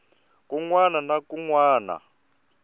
kun wana na kun wana